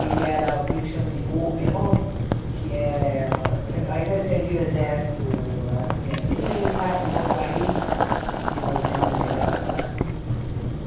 Ele era o que eles chamam de couperon, que é... Ao invés de servir o exército, assim, aqui, ele vai para um outro país, desenvolvendo determinado trabalho.